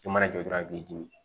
I mana jɔ dɔrɔn i b'i dimi